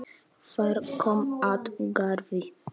Þar kom at garði